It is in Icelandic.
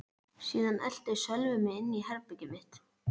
Síðan elti Sölvi mig inn í herbergið mitt.